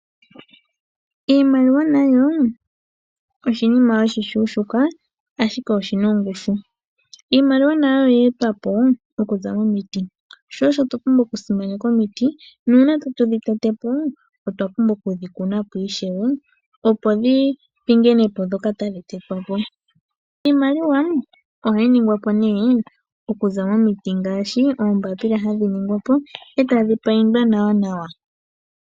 Iimaliwa nayo oshinima oshishuushuka, ashike oshi na ongushu. Iimaliwa nayo oye etwa po okuza momiti, sho osho twa pumbwa okusimaneka omiti. Uuna tatu dhi tete po otwa pumbwa okudhi ku ishewe, opo dhi pingine po ndhoka tadhi tetwa po. Iimaliwa ohayi ningwa po nduno okuza momiti ngaashi oombapila hadhi ningwa po e tadhi paindwa nawanawa.